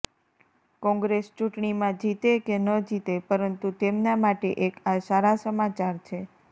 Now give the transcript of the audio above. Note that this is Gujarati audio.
કોંગ્રેસ ચૂંટણીમાં જીતે કે ન જીતે પરંતુ તેમના માટે એક આ સારા સમાચાર છે